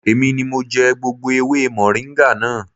Èmi ni mo jẹ gbogbo ewé mọ̀ríńgà náà